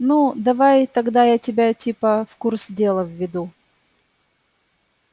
ну давай тогда я тебя типа в курс дела введу